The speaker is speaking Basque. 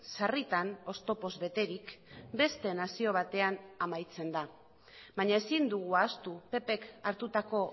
sarritan oztopoz beterik beste nazio batean amaitzen da baina ezin dugu ahaztu ppk hartutako